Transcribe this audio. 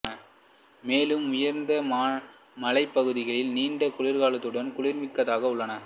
மேலும் உயர்ந்த மலைப் பகுதிகளில் நீண்ட குளிர்காலத்துடன் குளிர்மிக்கதாக உள்ளன